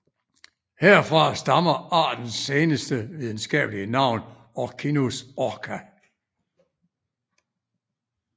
Herfra stammer artens senere videnskabelige navn Orcinus orca